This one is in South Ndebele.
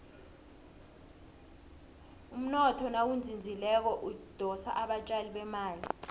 umnotho nawuzinzileko udosa abatjali bemali